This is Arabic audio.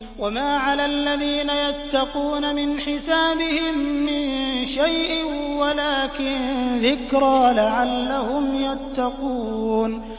وَمَا عَلَى الَّذِينَ يَتَّقُونَ مِنْ حِسَابِهِم مِّن شَيْءٍ وَلَٰكِن ذِكْرَىٰ لَعَلَّهُمْ يَتَّقُونَ